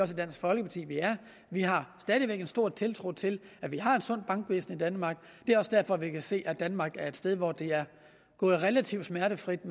dansk folkeparti at vi er vi har stadig væk en stor tiltro til at vi har et sundt bankvæsen i danmark det er også derfor vi kan se at danmark er et sted hvor det er gået relativt smertefrit